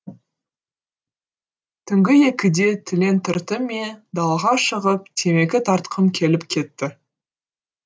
түнгі екіде түлен түртті ме далаға шығып темекі тартқым келіп кетті